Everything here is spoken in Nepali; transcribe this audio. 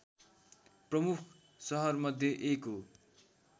प्रमुख सहरमध्ये एक हो